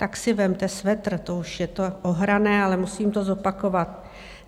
Tak si vezměte svetr - to už je to ohrané, ale musím to zopakovat.